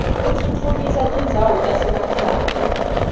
utfutfukisa tindzawo tasemakhaya